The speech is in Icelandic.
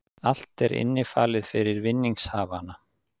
Allt er innifalið fyrir vinningshafana